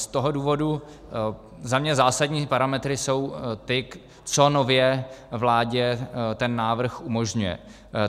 Z toho důvodu za mě zásadní parametry jsou ty, co nově vládě ten návrh umožňuje.